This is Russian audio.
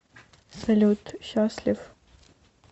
салют счастлив